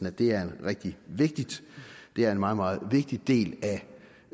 at det er rigtig vigtigt det er en meget meget vigtig del